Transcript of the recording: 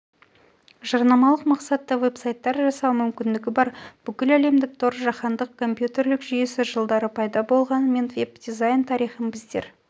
жарнамалық мақсатта веб-сайттар жасау мүмкіндігі бар бүкіләлемдік тор жаһандық компьютерлік жүйесі жылдары пайда болғанымен веб-дизайн тарихын біздер